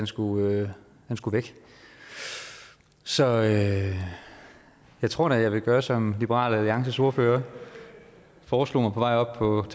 skulle skulle væk så jeg jeg tror da at jeg vil gøre som liberal alliances ordfører foreslog mig på vej op